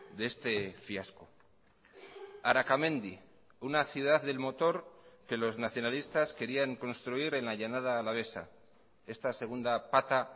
de este fiasco arakamendi una ciudad del motor que los nacionalistas querían construir en la llanada alavesa esta segunda pata